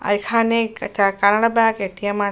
আর এখানে একটা Canara bank A .T .M a--